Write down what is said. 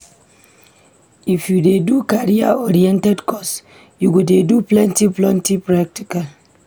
I f you dey do career-oriented course, you go dey do plenty-plenty practical.